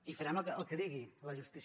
i farem el que digui la justícia